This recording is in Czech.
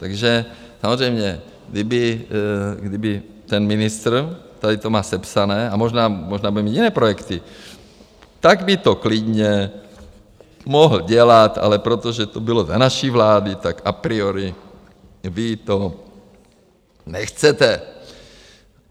Takže samozřejmě, kdyby ten ministr, tady to má sepsané, a možná bude mít jiné projekty, tak by to klidně mohl dělat, ale protože to bylo za naší vlády, tak a priori vy to nechcete.